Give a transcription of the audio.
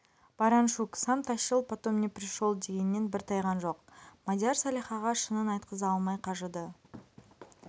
бараншук сам тащил потом не пришол дегеннен бір тайған жоқ мадияр салихаға шынын айтқыза алмай қажыды